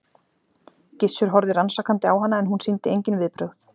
Gissur horfði rannsakandi á hana en hún sýndi engin viðbrögð.